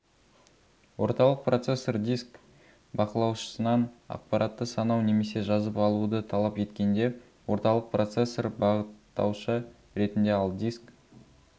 орталық процессор диск бақылаушысынан ақпаратты санау немесе жазып алуды талап еткенде орталық процессор бағыттаушы ретінде ал диск